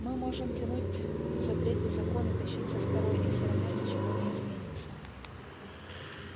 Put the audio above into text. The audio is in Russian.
мы можем тянуть за третий закон и тащить за второй и все равно ничего не изменится